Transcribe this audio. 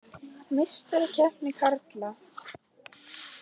Meistarakeppni karla: